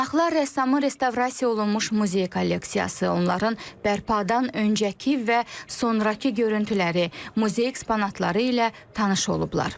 Qonaqlar rəssamın restavrasiya olunmuş muzey kolleksiyası, onların bərpadan öncəki və sonrakı görüntüləri, muzey eksponatları ilə tanış olublar.